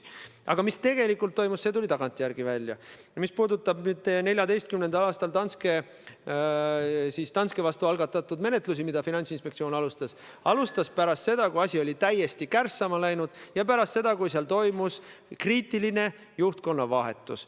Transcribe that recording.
Aga mis tegelikult toimub, see tuli välja tagantjärele – see, mis puudutab 2014. aastal Danske Banki vastu algatatud menetlust, mida Finantsinspektsioon alustas pärast seda, kui asi oli täiesti kärssama läinud, ja pärast seda, kui seal toimus kriitiline juhtkonna vahetus.